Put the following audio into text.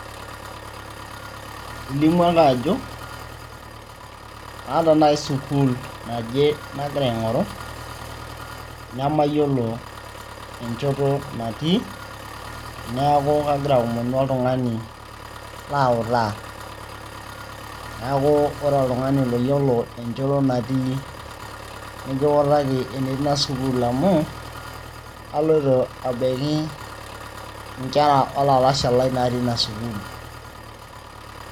ilimu ake ajo aata naaji sukuul naje nagira aing'oru nemayiolo enchoto natii neeku kagira aomonu oltung'ani lautaa neeku ore oltung'ani loyiolo enchoto natii nikiutaki enetii ina sukuul amu aloito abaiki inkera olalashe lai natii ina sukuul.